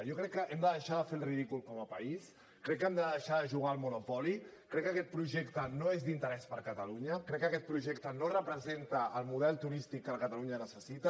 jo crec que hem de deixar de fer el ridícul com a país crec que hem de deixar de jugar al monopoly crec que aquest projecte no és d’interès per catalunya crec que aquest projecte no representa el model turístic que catalunya necessita